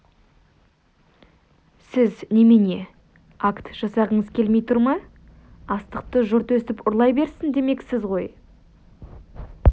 сіз немене акт жасағыңыз келмей тұр ма астықты жұрт өстіп ұрлай берсін демексіз ғой